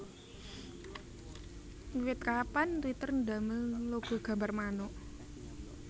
Wiwit kapan Twitter ndamel logo gambar manuk